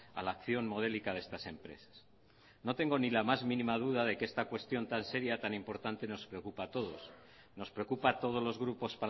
a la acción modélica de estas empresas no tengo ni la más mínima duda de que esta cuestión tan seria tan importante nos preocupa a todos nos preocupa a todos los grupos